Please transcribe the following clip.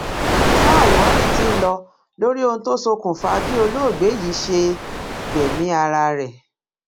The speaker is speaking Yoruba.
sa ìwádìí tí ń lọ lórí ohun tó ṣokùnfà bí olóògbé yìí ṣe yìí ṣe gbẹmí ara ẹ